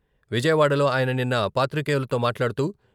విజయవాడలో ఆయన నిన్న పాత్రికేయులతో మాట్లాడుతూ..